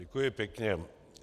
Děkuji pěkně.